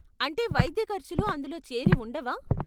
అంటే వైద్య ఖర్చులు అందులో చేరి ఉండవా?